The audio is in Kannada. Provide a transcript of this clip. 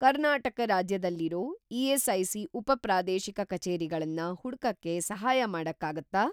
ಕರ್ನಾಟಕ ರಾಜ್ಯದಲ್ಲಿರೋ ಇ.ಎಸ್.ಐ.ಸಿ. ಉಪ-ಪ್ರಾದೇಶಿಕ ಕಚೇರಿಗಳನ್ನ ಹುಡ್ಕಕ್ಕೆ ಸಹಾಯ ಮಾಡಕ್ಕಾಗತ್ತಾ?